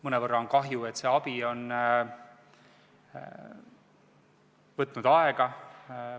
Mõnevõrra on kahju, et see abi on võtnud aega.